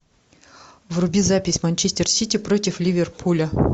вруби запись манчестер сити против ливерпуля